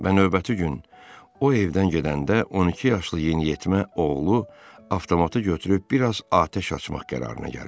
Və növbəti gün o evdən gedəndə 12 yaşlı yeniyetmə oğlu avtomatı götürüb bir az atəş açmaq qərarına gəlir.